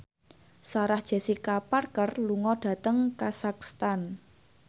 Sarah Jessica Parker lunga dhateng kazakhstan